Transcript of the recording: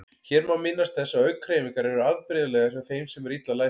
Hér má minnast þess að augnhreyfingar eru afbrigðilegar hjá þeim sem eru illa læsir.